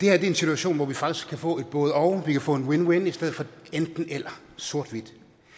er en situation hvor vi faktisk kan få et både og vi kan få en win win i stedet for et enten eller sort hvidt